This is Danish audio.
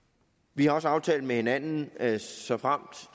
vi har også aftalt med hinanden at såfremt